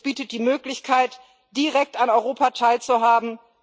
Es bietet die Möglichkeit, direkt an Europa teilzuhaben.